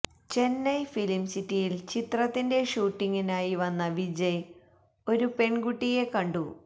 Chennai film സിറ്റിയില് ചിത്രത്തിന്റെ ഷൂട്ടിങ്ങിനായി വന്ന വിജയ് ഒരു പെണ്കുട്ടിയെ കണ്ടു